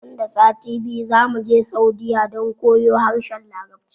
Nan da sati biyu zamuje saudiyya don koyon harshen larabci